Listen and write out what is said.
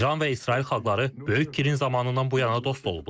İran və İsrail xalqları Böyük Kirin zamanından bu yana dost olublar.